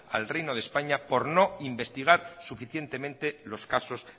al reino de españa por no investigar suficientemente los casos